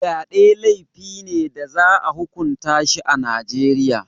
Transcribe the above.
Fyade laifi ne da za a hukunta shi a Najeriya.